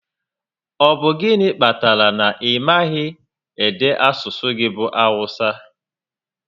Ọ bụ gịnị kpatara na ị maghị ede asụsụ gị bụ Awụsa?